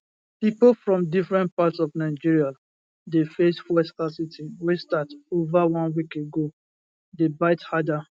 pipo from different parts of nigeria dey face fuel scarcity wey start over one week ago dey bite harder